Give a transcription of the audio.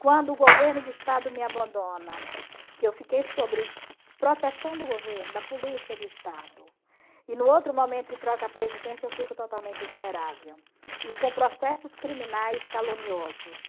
Quando o governo de Estado me abandona, que eu fiquei sobre proteção do governo, da polícia, do Estado, e no outro momento que troca a presidência eu fico totalmente vulnerável e com processos criminais caluniosos.